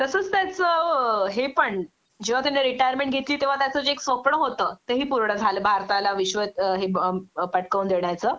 तसच त्याच हे पण जेंव्हा त्याने रिटायरमेंट घेतली तेंव्हा त्याच जे एक स्वप्न होतं तेही पूर्ण झालं भारताला विश्व हे अं अं पटकवून देण्याचं